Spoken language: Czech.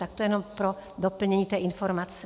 Tak to jenom pro doplnění té informace.